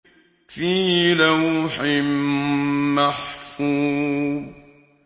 فِي لَوْحٍ مَّحْفُوظٍ